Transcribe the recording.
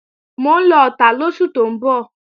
Mò ń lọ Ọ̀tà lóṣù tó ń bọ̀